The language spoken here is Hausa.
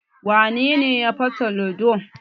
Wane ne ya fasa ludo?